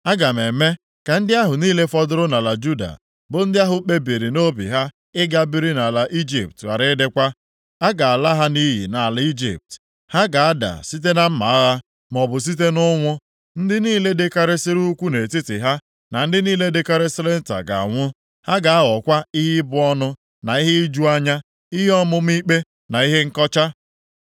Aga m eme ka ndị ahụ niile fọdụrụ nʼala Juda, bụ ndị ahụ kpebiri nʼobi ha ịga biri nʼala Ijipt ghara ịdịkwa. A ga-ala ha nʼiyi nʼala Ijipt; ha ga-ada site na mma agha, maọbụ site nʼụnwụ. Ndị niile dịkarịsịrị ukwuu nʼetiti ha na ndị niile dịkarịsịrị nta ga-anwụ. Ha ga-aghọkwa ihe ịbụ ọnụ na ihe iju anya, ihe ọmụma ikpe na ihe nkọcha.